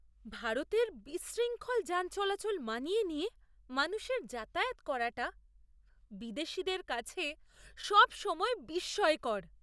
ভারতের বিশৃঙ্খল যান চলাচল মানিয়ে নিয়ে মানুষের যাতায়াত করাটা বিদেশীদের কাছে সবসময়ই বিস্ময়কর।